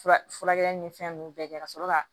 Fura furakɛli ni fɛn ninnu bɛɛ kɛ ka sɔrɔ ka